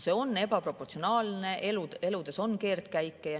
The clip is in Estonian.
See on ebaproportsionaalne, sest elu teeb keerdkäike.